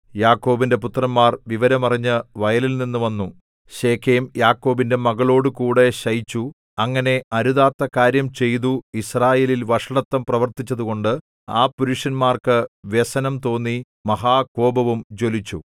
യാക്കോബിന്റെ പുത്രന്മാർ വിവരം അറിഞ്ഞ് വയലിൽനിന്നു വന്നു ശേഖേം യാക്കോബിന്റെ മകളോടുകൂടെ ശയിച്ചു അങ്ങനെ അരുതാത്ത കാര്യം ചെയ്തു യിസ്രായേലിൽ വഷളത്തം പ്രവർത്തിച്ചതുകൊണ്ട് ആ പുരുഷന്മാർക്ക് വ്യസനം തോന്നി മഹാകോപവും ജ്വലിച്ചു